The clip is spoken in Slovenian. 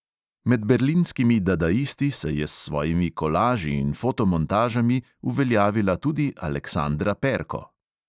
Med berlinskimi dadaisti se je s svojimi kolaži in fotomontažami uveljavila tudi aleksandra perko.